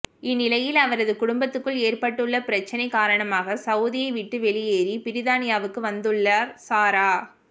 இந்நிலையில் அவரது குடும்பத்துக்குள் ஏற்பட்டுள்ள பிரச்சினை காரணமாக சவுதியை விட்டு வெளியேறி பிரித்தானியாவுக்கு வந்துள்ளார் சாரா